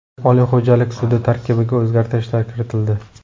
Oliy xo‘jalik sudi tarkibiga o‘zgartishlar kiritildi.